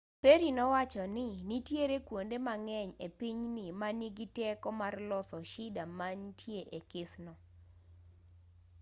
perry nowachoni nitie kuonde mang'eny e pinyni ma nigi teko mar loso shida mantie e kesno